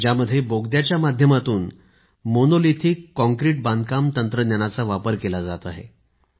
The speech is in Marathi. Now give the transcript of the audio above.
ज्यात बोगद्याच्या माध्यमातून मोनोलिथिक काँक्रीट बांधकाम तंत्रज्ञानाचा वापर केला जात आहे